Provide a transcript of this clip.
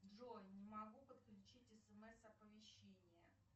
джой не могу подключить смс оповещение